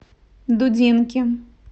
дудинки